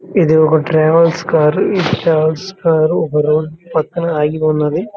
ఇది ఒక travels car ఈ ట్రావెల్స్ కార్ ఒక రోడ్ పక్కన ఆగి ఉన్నది.